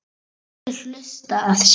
Allir hlutu að sjá það.